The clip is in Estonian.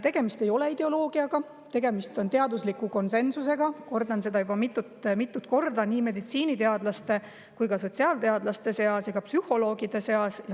" Tegemist ei ole ideoloogiaga, tegemist on teadusliku konsensusega – kordan seda juba mitmendat korda – meditsiiniteadlaste, sotsiaalteadlaste ja psühholoogide seas.